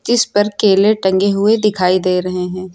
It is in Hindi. जिस पर केले टंगे हुए दिखाई दे रहे हैं।